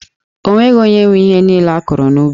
O nweghị onye nwe ihe niile a kụrụ n'ubi.